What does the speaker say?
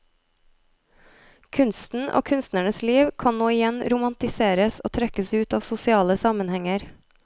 Kunsten og kunstnernes liv kan nå igjen romantiseres og trekkes ut av sosiale sammenhenger.